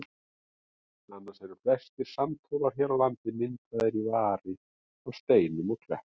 Annars eru flestir sandhólar hér á landi myndaðir í vari af steinum og klettum.